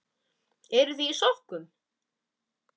Eruð þið í sokkum?